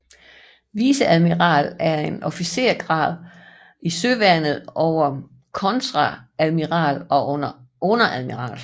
Viceadmiral er en officersgrad i Søværnet over kontreadmiral og under admiral